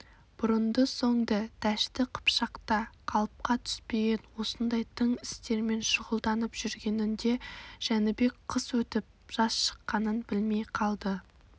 бұрынды-соңды дәшті қыпшақта қалыпқа түспеген осындай тың істермен шұғылданып жүргенінде жәнібек қыс өтіп жаз шыққанын білмей қалды